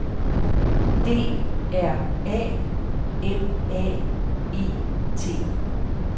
D R A M A E T